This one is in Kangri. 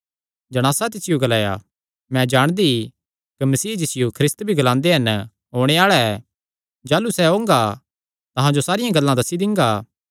जणासा तिसियो ग्लाया मैं जाणदी कि मसीह जिसियो ख्रिस्त भी ग्लांदे हन ओणे आल़ा ऐ जाह़लू सैह़ ओंगा तां अहां जो सारियां गल्लां दस्सी दिंगा